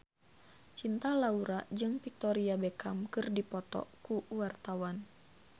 Cinta Laura jeung Victoria Beckham keur dipoto ku wartawan